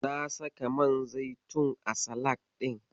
Na saka man zaitun a salak ɗin.